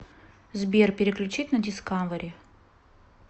сбер переключить на дискавери